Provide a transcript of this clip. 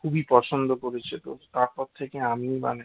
খুবই পছন্দ করেছে তো তারপর থেকে আমি বানায়